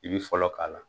I bi fɔlɔ k'a la